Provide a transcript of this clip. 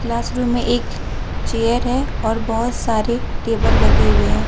Class room में एक chair हैं और बहोत सारे टेबल लगे हुए हैं।